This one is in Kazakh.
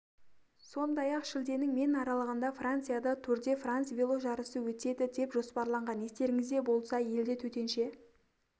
сондай-ақ шілденің мен аралығында францияда тур де франс веложарысы өтеді деп жоспарланған естеріңізде болса елде төтенше